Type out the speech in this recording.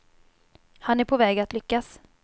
Han är på väg att lyckas.